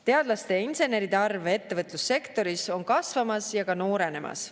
Teadlaste ja inseneride arv ettevõtlussektoris on kasvamas ja ka noorenemas.